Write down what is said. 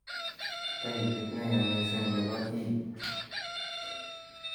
Taipit neyaa mising nebo E.